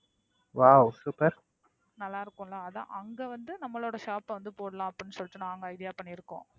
நல்ல இருக்கும்ல அதான். அங்க வந்து நம்மளோட shop போடலாம்ன. நாங்க idea பண்ணியிருக்கிறோம்.